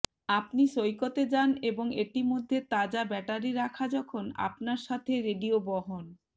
আপনি সৈকত এ যান এবং এটি মধ্যে তাজা ব্যাটারি রাখা যখন আপনার সাথে রেডিও বহন